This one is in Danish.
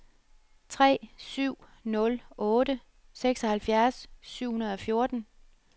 tre syv nul otte seksoghalvfjerds syv hundrede og fjorten